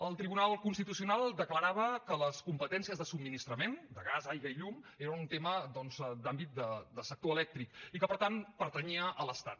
el tribunal constitucional declarava que les competències de subministrament de gas aigua i llum era un tema doncs d’àmbit de sector elèctric i que per tant pertanyia a l’estat